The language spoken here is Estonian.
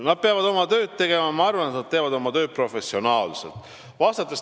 Nad peavad oma tööd tegema ja ma arvan, et nad teevad oma tööd professionaalselt.